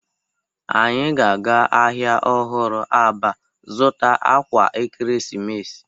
Anyi ga-aga ahịa ọhụrụ Aba zuta akwa ekeresimesi.